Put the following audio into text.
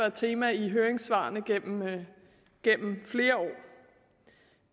et tema i høringssvarene gennem gennem flere år